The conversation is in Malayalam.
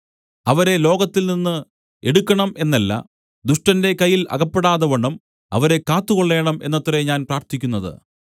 അവരെ ലോകത്തിൽ നിന്നു എടുക്കണം എന്നല്ല ദുഷ്ടന്റെ കയ്യിൽ അകപ്പെടാതവണ്ണം അവരെ കാത്തുകൊള്ളേണം എന്നത്രേ ഞാൻ പ്രാർത്ഥിക്കുന്നത്